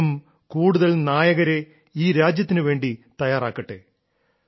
അദ്ദേഹം കൂടുതൽ കൂടുതൽ നായകരെ ഈ രാജ്യത്തിനു വേണ്ടി തയ്യാറാക്കട്ടെ